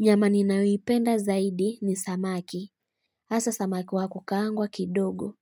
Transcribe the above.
Nyama ninayoipenda zaidi ni samaki. Asa samaki wako kakangwa kidogo.